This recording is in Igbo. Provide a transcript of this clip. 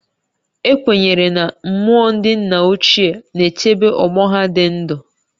Ekwenyere na mmụọ ndị nna ochie na-echebe ọgbọ ha dị ndụ